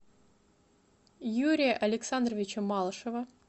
юрия александровича малышева